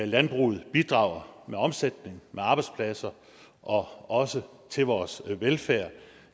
landbruget bidrager med omsætning med arbejdspladser og også til vores velfærd